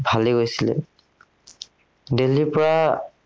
ভালেই গৈছিলে। দিল্লীৰ পৰা